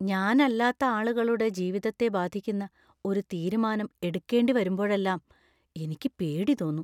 ഞാനല്ലാത്ത ആളുകളുടെ ജീവിതത്തെ ബാധിക്കുന്ന ഒരു തീരുമാനം എടുക്കേണ്ടിവരുമ്പോഴെല്ലാം എനിക്ക് പേടി തോന്നും.